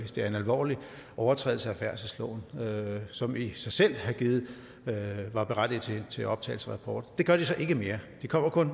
er en alvorlig overtrædelse af færdselsloven som i sig selv berettiger til optagelse af rapport det gør de så ikke mere de kommer kun